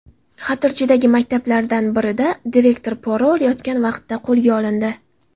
Xatirchidagi maktablardan birining direktori pora olayotgan vaqtda qo‘lga olindi.